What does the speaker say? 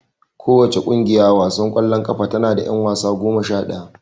Kowace ƙungiya a wasan ƙwallon ƙafa tana da ƴan wasa goma sha ɗaya.